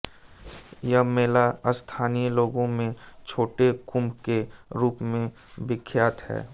यह मेला स्थानिय लोगों में छोटे कुंभ के रूप में विख्यात है